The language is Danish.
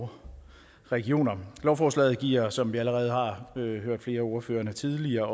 og regioner lovforslaget giver som vi allerede har hørt flere af ordførerne tidligere